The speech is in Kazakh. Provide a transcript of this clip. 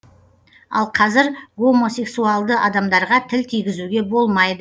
ал қазір гомосексуалды адамдарға тіл тигізуге болмайды